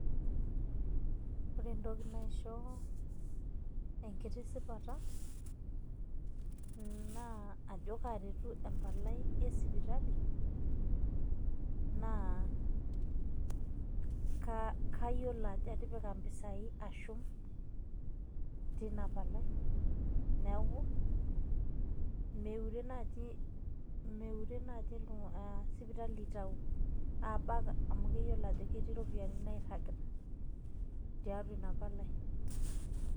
Ore entoki naisho enkitishipata, na ajo karetu empalai esipitali, naa kayiolo ajo atipika impisai ashum tina palai, neeku meure naji meure naji sipitali aitau. Abak amu keyiolo ajo ketii iropiyiani nairragita tiatua inapalai.